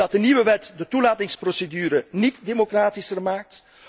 Omdat de nieuwe wet de toelatingsprocedure niet democratischer maakt.